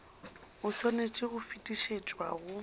o swanetše go fetišetšwa go